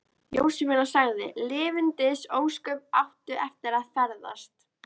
Jósefína sagði: Lifandis ósköp áttu eftir að ferðast.